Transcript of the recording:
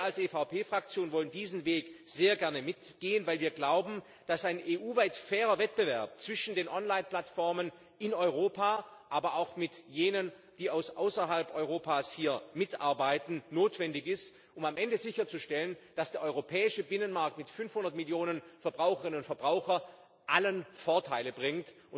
Wir als EVP Fraktion wollen diesen Weg sehr gerne mitgehen, weil wir glauben, dass ein EU weit fairer Wettbewerb zwischen den Onlineplattformen in Europa, aber auch mit jenen, die von außerhalb Europas hier mitarbeiten, notwendig ist, um am Ende sicherzustellen, dass der europäische Binnenmarkt mit 500 Millionen Verbraucherinnen und Verbrauchern allen Vorteile bringt.